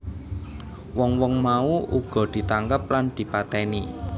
Wong wong mau uga ditangkep lan dipatèni